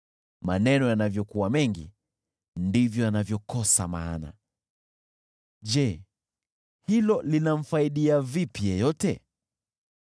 Maneno yanavyokuwa mengi, ndivyo yanavyokosa maana, Je, hilo linamfaidia vipi yeyote?